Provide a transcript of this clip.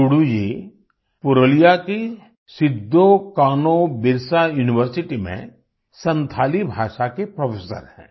to do ji Purulia की Sidho Kanho Birsa university में संथाली भाषा के प्रोफेसर हैं